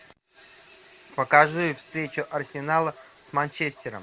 покажи встречу арсенала с манчестером